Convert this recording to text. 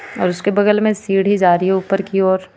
और उसके बगल में सीढी जा रही है ऊपर की ओर.